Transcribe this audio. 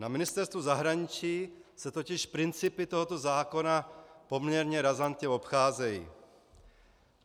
Na Ministerstvu zahraničí se totiž principy tohoto zákona poměrně razantně obcházejí.